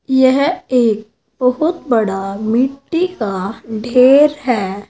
यह एक बहोत बड़ा मिट्टी का ढ़ेर है।